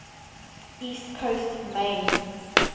east coast maine